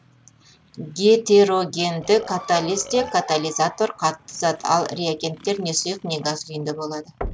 гетерогенді катализде катализатор қатты зат ал реагенттер не сұйық не газ күйінде болады